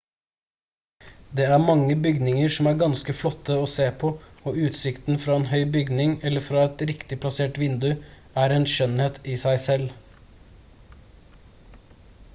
det er mange bygninger som er ganske flotte å se på og utsikten fra en høy bygning eller fra et riktig plassert vindu er en skjønnhet i seg selv